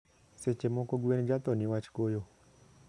sechemoko gwen jathoo niwach koyo